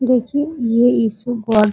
देखिये ये issue god --